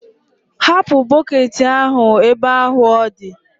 hapụ bọketị ahụ ebe ahụ ọ dị!